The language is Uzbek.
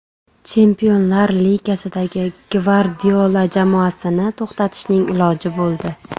Chempionlar Ligasidagina Gvardiola jamoasini to‘xtatishning iloji bo‘ldi.